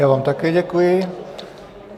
Já vám také děkuji.